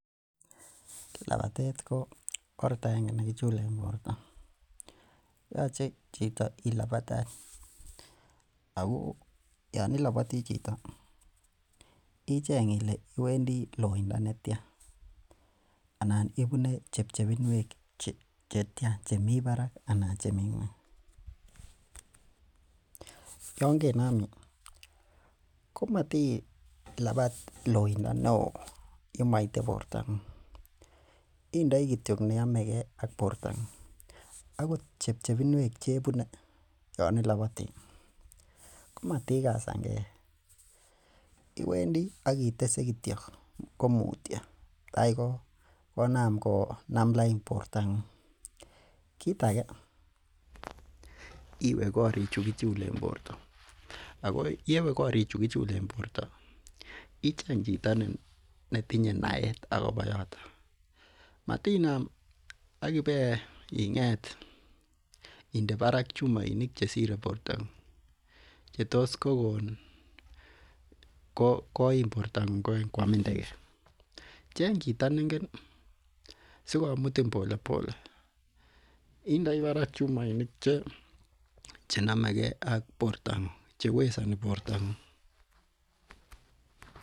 Lapatet ko oret agenge ne kichulen porto. Yache chito ilapata any ako yan ilapati chito icheng' ile iwendi lpinda netia anan ipune chepchepinwek che tia. Che mi parak anan chemi ng'un. Yan kenam komatilapat loinda ne oo ye maite porto. Indai kityo ne yame ge ak porton akot chepchepinwek che ipune yan i lapati komatikasan ge , iwendi akitese kityo komutya tai konaam konam lain porto ng'ung'. Kiita age iwe karichu kichulen porto ako ye we katichu kichulen porto, icheng' chito ne tinye naet akopa yotok. Matinam ak ip ing'et inde parak chumainik che sire porto ng'ung' che tos kokon koim porto ng'ung' koamin teket. Chang' chito ne igen si komutin pole pole. Indai parak chumainik che name ge ak porto ng'ung' , che wesani porto ng'ung'.